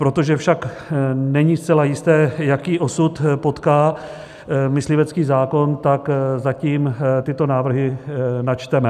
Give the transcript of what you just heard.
Protože však není zcela jisté, jaký osud potká myslivecký zákon, tak zatím tyto návrhy načteme.